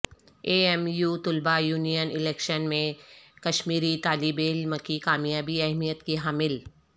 اے M U طلبہ union election میں کشمیری طالب علم کی کامیابی اہمیت کی حامل